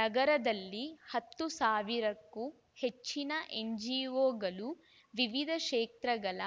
ನಗರದಲ್ಲಿ ಹತ್ತು ಸಾವಿರಕ್ಕೂ ಹೆಚ್ಚಿನ ಎನ್‌ಜಿಒಗಳು ವಿವಿಧ ಕ್ಷೇತ್ರಗಳ